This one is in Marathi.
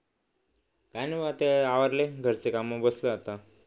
काय नाही बाबा आता हे आवरलंय घरचं काम मग बसलोय आता